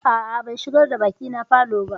A'a, ban shigar da baƙina falo ba.